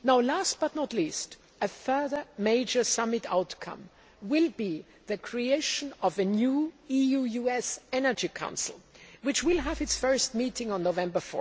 Last but not least, a further major summit outcome will be the creation of a new EU US Energy Council which will have its first meeting on 4 November.